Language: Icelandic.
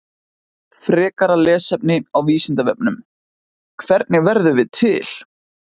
Frekara lesefni á Vísindavefnum: Hvernig verðum við til?